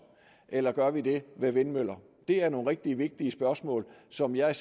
eller gør vi det ved vindmøller det er nogle rigtig vigtige spørgsmål som jeg